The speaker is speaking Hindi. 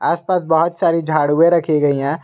आसपास बहोत सारी झाडुए रखी गई है।